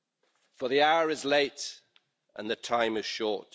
for the hour is late, and the time is short.